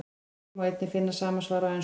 Hér má einnig finna sama svar á ensku.